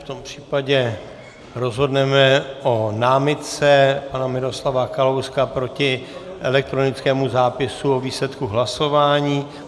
V tom případě rozhodneme o námitce pana Miroslava Kalouska proti elektronickému zápisu o výsledku hlasování.